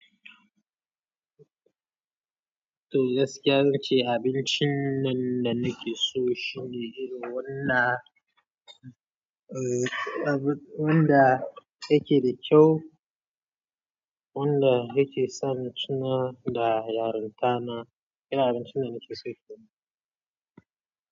To gaskiya ce, abincin nan da nake so shine irin wanda, eh, wanda yake da kyau, wanda yake sa ni tuna da yarinta na. Irin abincin da nake so kenan.